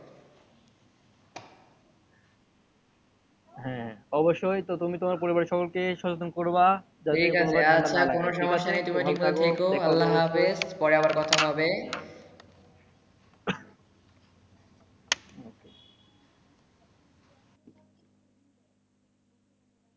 হ্যা অবশ্যই। তো তুমি তোমার পরিবার সবাইকে সচেতন করবা। ঠিক আছে। আর কোনো সমস্যা নেই। তুমি ঠিক মতো থেকে। আল্লাহ হাফেজ। পরে আবার কথা হবে।